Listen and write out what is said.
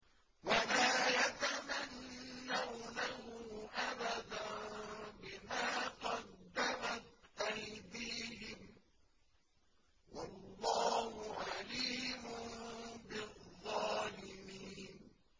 وَلَا يَتَمَنَّوْنَهُ أَبَدًا بِمَا قَدَّمَتْ أَيْدِيهِمْ ۚ وَاللَّهُ عَلِيمٌ بِالظَّالِمِينَ